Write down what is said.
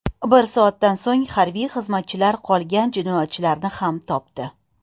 Bir soatdan so‘ng harbiy xizmatchilar qolgan jinoyatchilarni ham topdi.